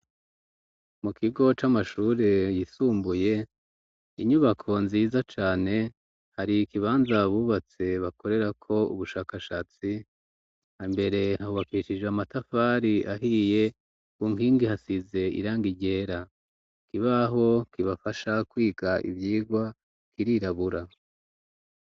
Mu kigo c'amashure yisumbuye inyubako nziza cane hari ikibanza bubatse bakorerako ubushakashatsi ambere hawakicije amatafari ahiye ku nkingi hasize iranga iryera kibaho kibafasha kwiga ivyigwa kirirabura.